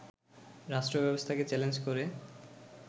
রাষ্ট্র ব্যবস্থাকে চ্যালেঞ্জ করে